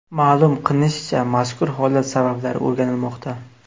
Ma’lum qilinishicha, mazkur holat sabablari o‘rganilmoqda.